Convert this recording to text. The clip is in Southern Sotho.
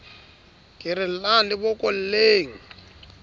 ke re llang le bokolleng